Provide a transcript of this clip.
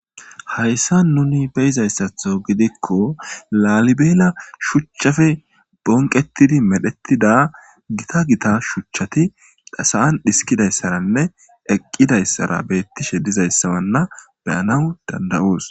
Haysan nun beyizaysatho gidikko lalibela shuchappe bonqeti medhetida gita gita shuchati sa'an xiskidaysarnne eqidaysra betishe dizanna be'anawu dand'aoso